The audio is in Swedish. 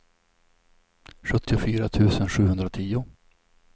sjuttiofyra tusen sjuhundratio